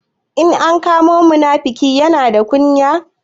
In an kama munafuki, Yana da kunya.